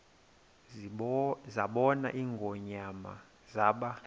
zabona ingonyama zaba